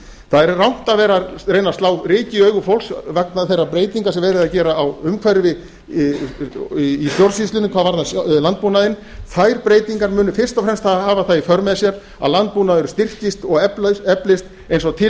það er rangt að vera að reyna að slá ryki í augu fólks vegna þeirra breytinga sem verið er að gera á umhverfi í stjórnsýslunni hvað varðar landbúnaðinn þær breytingar munu fyrst og fremst hafa það í för með sér að landbúnaður styrkist og eflist eins og til